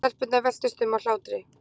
Stelpurnar veltust um af hlátri.